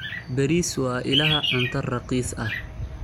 Bariis waa ilaha cunto raqiis ah.